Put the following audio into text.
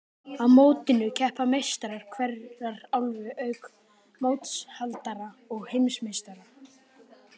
Á mótinu keppa meistarar hverrar álfu, auk mótshaldara og heimsmeistara.